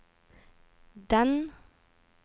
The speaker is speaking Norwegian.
den